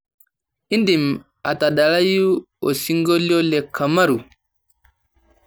indim atadalayu osingolio le kamaru